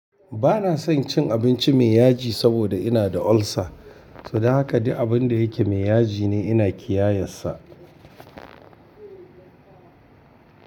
Ba na son cin abinci mai yaji saboda ina da ulcer, so don haka duk abun da yake mai yaji ne ina kiyayensa.